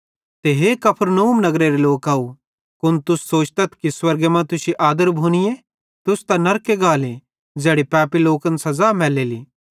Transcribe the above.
ते हे कफरनहूम नगरेरे लोकव कुन तुस सोचतथ कि स्वर्गे मां तुश्शी आदर भोनीए ई तुस त नरके गाले ज़ैड़ी पैपी लोकन सज़ा मैलेली